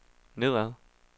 nedad